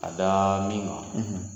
A daa min kan